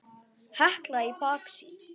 Hekla í baksýn.